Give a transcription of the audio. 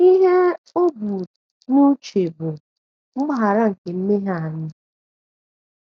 Ihe o bu um n’uche bụ mgbaghara nke mmehie anyị.